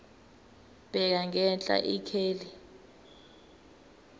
bheka ngenhla ikheli